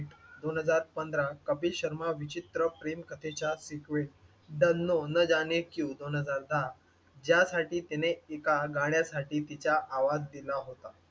दोन हजार पंधरा कपिल शर्मा विचित्र प्रेमकथेचा सिक्वेल डन्नो न जाने क्यूँ, दोन हजार दहा यासाठी तिने एका गाण्यासाठी तिचा आवाज दिला होता.